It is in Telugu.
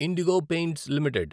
IndiGo Paints limited